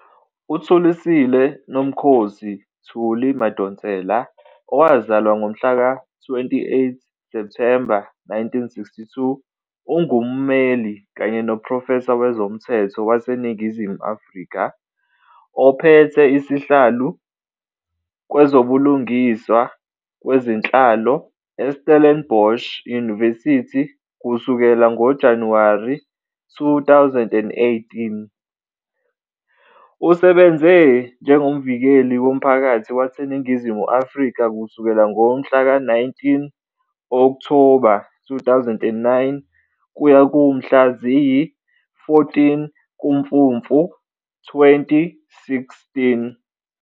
UThulisile Nomkhosi " Thuli " Madonsela, owazalwa ngomhlaka 28 Septhemba 1962, ungummeli kanye noprofesa wezomthetho waseNingizimu Afrika, ophethe isihlalo kwezobulungiswa kwezenhlalo eStellenbosch University kusukela ngoJanuwari 2018. Usebenze njengoMvikeli woMphakathi waseNingizimu Afrika kusukela ngomhlaka 19 Okthoba 2009 kuya kumhla ziyi-14 kuMfumfu 2016.